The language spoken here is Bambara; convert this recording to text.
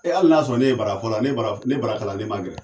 E hali n'a y'a ne ye barafɔla ne bara kalanden man gɛlɛn